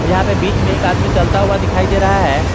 यहां पे बीच में एक आदमी चलता हुआ दिखाई दे रहा है।